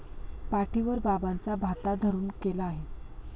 पाठीवर बाबांचा भाता धरून केला आहे.